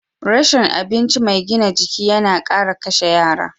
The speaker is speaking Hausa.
Rashin abinci mai gina jiki yana kara kashe yara.